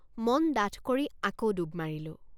মন ডাঠ কৰি আকৌ ডুব মাৰিলোঁ।